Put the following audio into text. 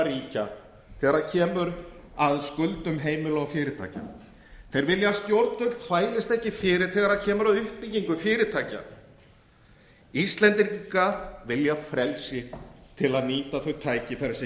ríkja þegar kemur að skuldum heimila og fyrirtækja þeir vilja að stjórnvöld þvælist ekki fyrir þegar kemur að uppbyggingu fyrirtækja íslendingar vilja frelsi til að nýta þau tækifæri sem